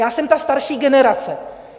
Já jsem ta starší generace.